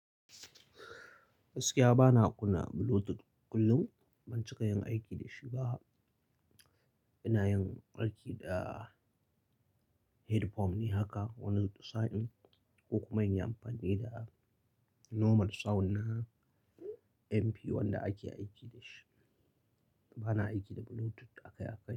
Gaskiya bana kuna Bluetooth kullum. Ban cika yin aiki da shi ba. Ina yin aiki da headphone haka wani sa'in, ko kuma in yi amfani da normal sound na MP1 da ake aiki da shi. Bana aiki da Bluetooth akai-akai.